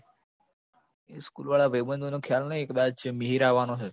એ school વાળા ભઈબંધોનો ખ્યાલ નઈ કદાચ મિહિર આવવાનો છે